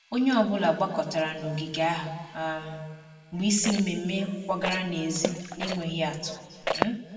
Onye ọ bụla gbakọtara n'ogige ahụ um mgbe isi mmemmé kwagara n'èzí n'enweghị atụ um